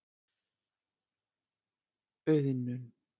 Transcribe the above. Auðnum